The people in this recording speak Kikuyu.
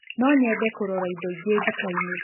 Nonyende kũrora ĩndo inge dukainĩ